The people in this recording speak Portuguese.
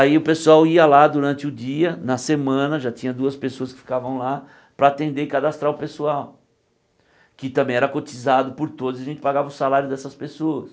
Aí o pessoal ia lá durante o dia, na semana já tinha duas pessoas que ficavam lá para atender e cadastrar o pessoal, que também era cotizado por todos a gente pagava o salário dessas pessoas.